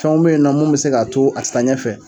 Fɛnw bɛ yen nɔ mun bɛ se k'a to a te taa ɲɛ fɛ